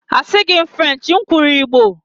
Asịghị m Frenchi, m kwuru igbo